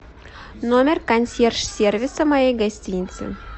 номер консьерж сервиса моей гостиницы